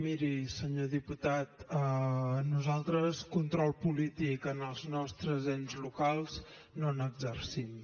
miri senyor diputat nosaltres control polític als nostres ens locals no n’exercim